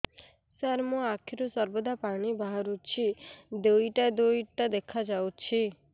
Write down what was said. ସାର ମୋ ଆଖିରୁ ସର୍ବଦା ପାଣି ବାହାରୁଛି ଦୁଇଟା ଦୁଇଟା ଦେଖାଯାଉଛି